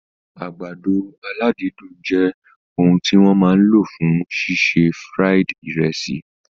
Àgbàdo aládídùn jẹ òun tí wọ́n máa lò fún ṣíṣe fried ìrẹsì